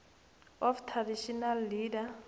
of traditional leaders